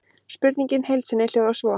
Spurningin í heild sinni hljóðar svo: